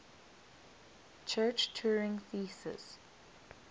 church turing thesis